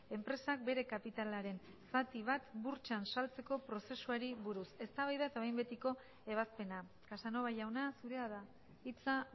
enpresak bere kapitalaren zati bat burtsan saltzeko prozesuari buruz eztabaida eta behin betiko ebazpena casanova jauna zurea da hitza